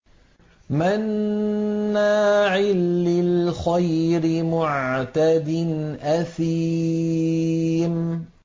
مَّنَّاعٍ لِّلْخَيْرِ مُعْتَدٍ أَثِيمٍ